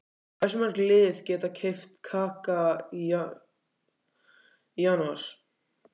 Hversu mörg lið geta keypt Kaka í janúar?